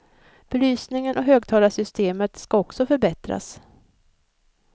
Belysningen och högtalarsystemet ska också förbättras.